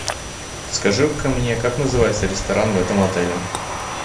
скажи ка мне как называется ресторан в этом отеле